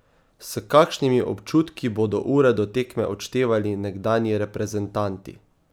S kakšnimi občutki bodo ure do tekme odštevali nekdanji reprezentanti?